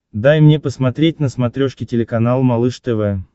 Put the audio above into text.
дай мне посмотреть на смотрешке телеканал малыш тв